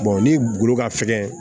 ni golo ka fɛgɛn